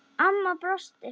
Amma brosti.